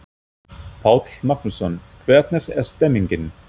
Páll Magnússon: Hvernig er stemmingin?